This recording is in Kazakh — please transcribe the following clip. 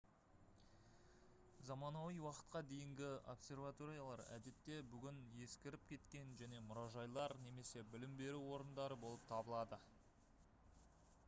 заманауи уақытқа дейінгі обсерваториялар әдетте бүгін ескіріп кеткен және мұражайлар немесе білім беру орындары болып табылады